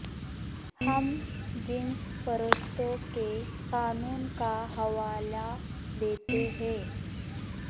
ہم جنس پرستوں کے قانون کا حوالہ دیتے ہیں